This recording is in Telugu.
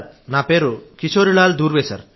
నా పేరు కిశోరీలాల్ దూర్వే